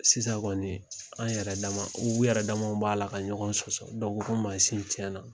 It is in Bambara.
Sisan kɔni an yɛrɛ u yɛrɛdamaw b'a la ka ɲɔgɔn sɔsɔ dɔ ko ko mansin tiɲɛna.